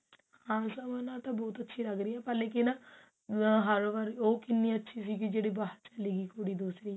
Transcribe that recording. ਹਾਂ ਸਮਰ ਨਾਲ ਤਾਂ ਬਹੁਤ ਅੱਛੀ ਲੱਗ ਰਹੀ ਹਿਆ ਪਰ ਲੇਕਿਨ ਹਰ ਵਾਰੀ ਉਹ ਕਿੰਨੀ ਅੱਛੀ ਸੀਗੀ ਜਿਹੜੀ ਬਾਹਰ ਛਲੀ ਗਈ ਕੁੜੀ ਦੂਸਰੀ